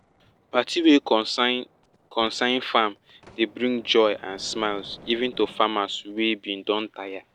party wey concern concern farm dey bring joy and smiles even to farmers wey bin don tire